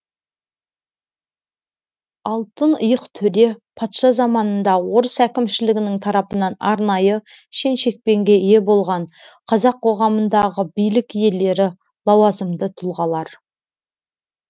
алтын иық төре патша заманында орыс әкімшілігінің тарапынан арнайы шен шекпенге ие болған қазақ қоғамындағы билік иелері лауазымды тұлғалар